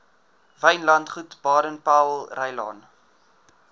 wynlandgoed baden powellrylaan